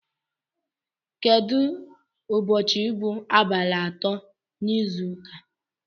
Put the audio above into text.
Kedụ ụbọchị bụ abalị atọ n'izu ụka?